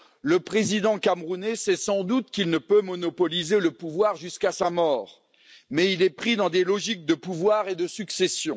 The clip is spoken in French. Le président camerounais sait sans doute qu'il ne peut monopoliser le pouvoir jusqu'à sa mort, mais il est pris dans des logiques de pouvoir et de succession.